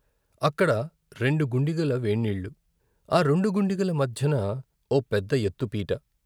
అక్కడ రెండు గుండిగల వేడినీళ్ళు ఆ రెండు గుండిగల మధ్యను ఓ పెద్ద ఎత్తుపీట.